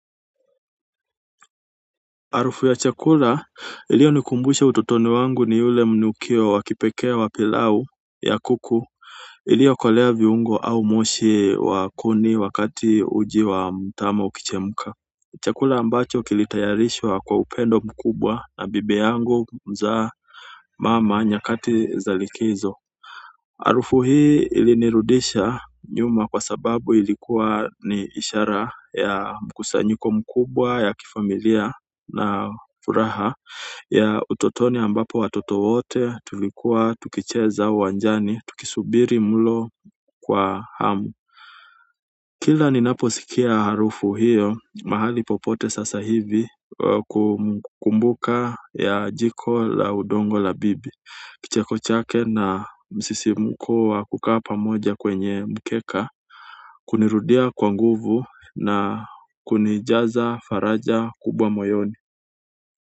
Harufu ya chakula iliyo nikumbusha utotoni wangu ni yule mnukio wa kipekee wa pilau ya kuku iliyo kolea viungo au moshi wa kuni wakati uji wa mtama ukichemuka chakula ambacho kilitayarishwa kwa upendo mkubwa na bibi yangu mzaa mama nyakati za likizo harufu hii ilinirudisha nyuma kwa sababu ilikuwa ni ishara ya mkusanyiko mkubwa ya kifamilia na furaha ya utotoni ambapo watoto wote tulikuwa tukicheza uwanjani tukisubiri mlo kwa hamu. Kila ninaposikia harufu hiyo mahali popote sasa hivi kumbuka ya jiko la udongo la bibi kicheko chake na msisimuko wa kukaa pamoja kwenye mkeka kunirudia kwa nguvu na kunijaza faraja kubwa moyoni.